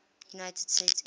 united states air